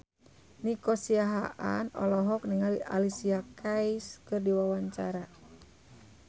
Nico Siahaan olohok ningali Alicia Keys keur diwawancara